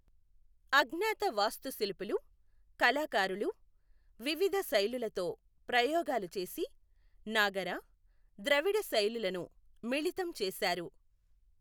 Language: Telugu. అజ్ఞాత వాస్తుశిల్పులు, కళాకారులు వివిధ శైలులతో ప్రయోగాలు చేసి, నాగర, ద్రవిడ శైలులను మిళితం చేశారు.